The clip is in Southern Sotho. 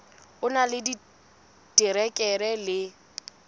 o na le diterekere le